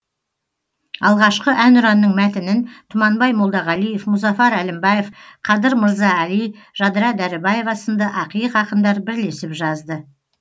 алғашқы әнұранның мәтінін тұманбай молдағалиев мұзафар әлімбаев қадыр мырза әли жадыра дәрібаева сынды ақиық ақындар бірлесіп жазды